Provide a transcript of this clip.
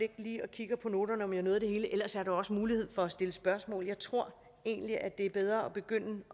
kigger på noterne om jeg nåede det hele ellers er også mulighed for at stille spørgsmål jeg tror egentlig at det er bedre at begynde